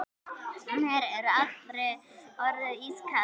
Mér er allri orðið ískalt.